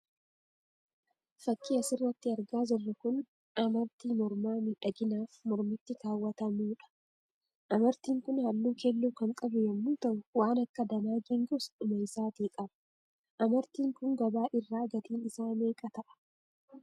Fakkii asirratti argaa jirru kun amaartii mormaa miidhaginaaf mormatti kaawwatamuudha. Amartiin kun halluu keelloo kan qabu yemmuu ta'uu waan akka danaa geengoos dhuma isaati qaba. Amartiin kun gabaa irraa gatiin isaa meeqa ta'a?